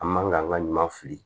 An man ka an ka ɲuman fili